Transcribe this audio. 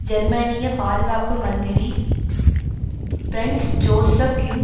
ஜெர்மனிய பாதுகாப்பு மந்திரி பிரன்ஸ் ஜோசப் யுங்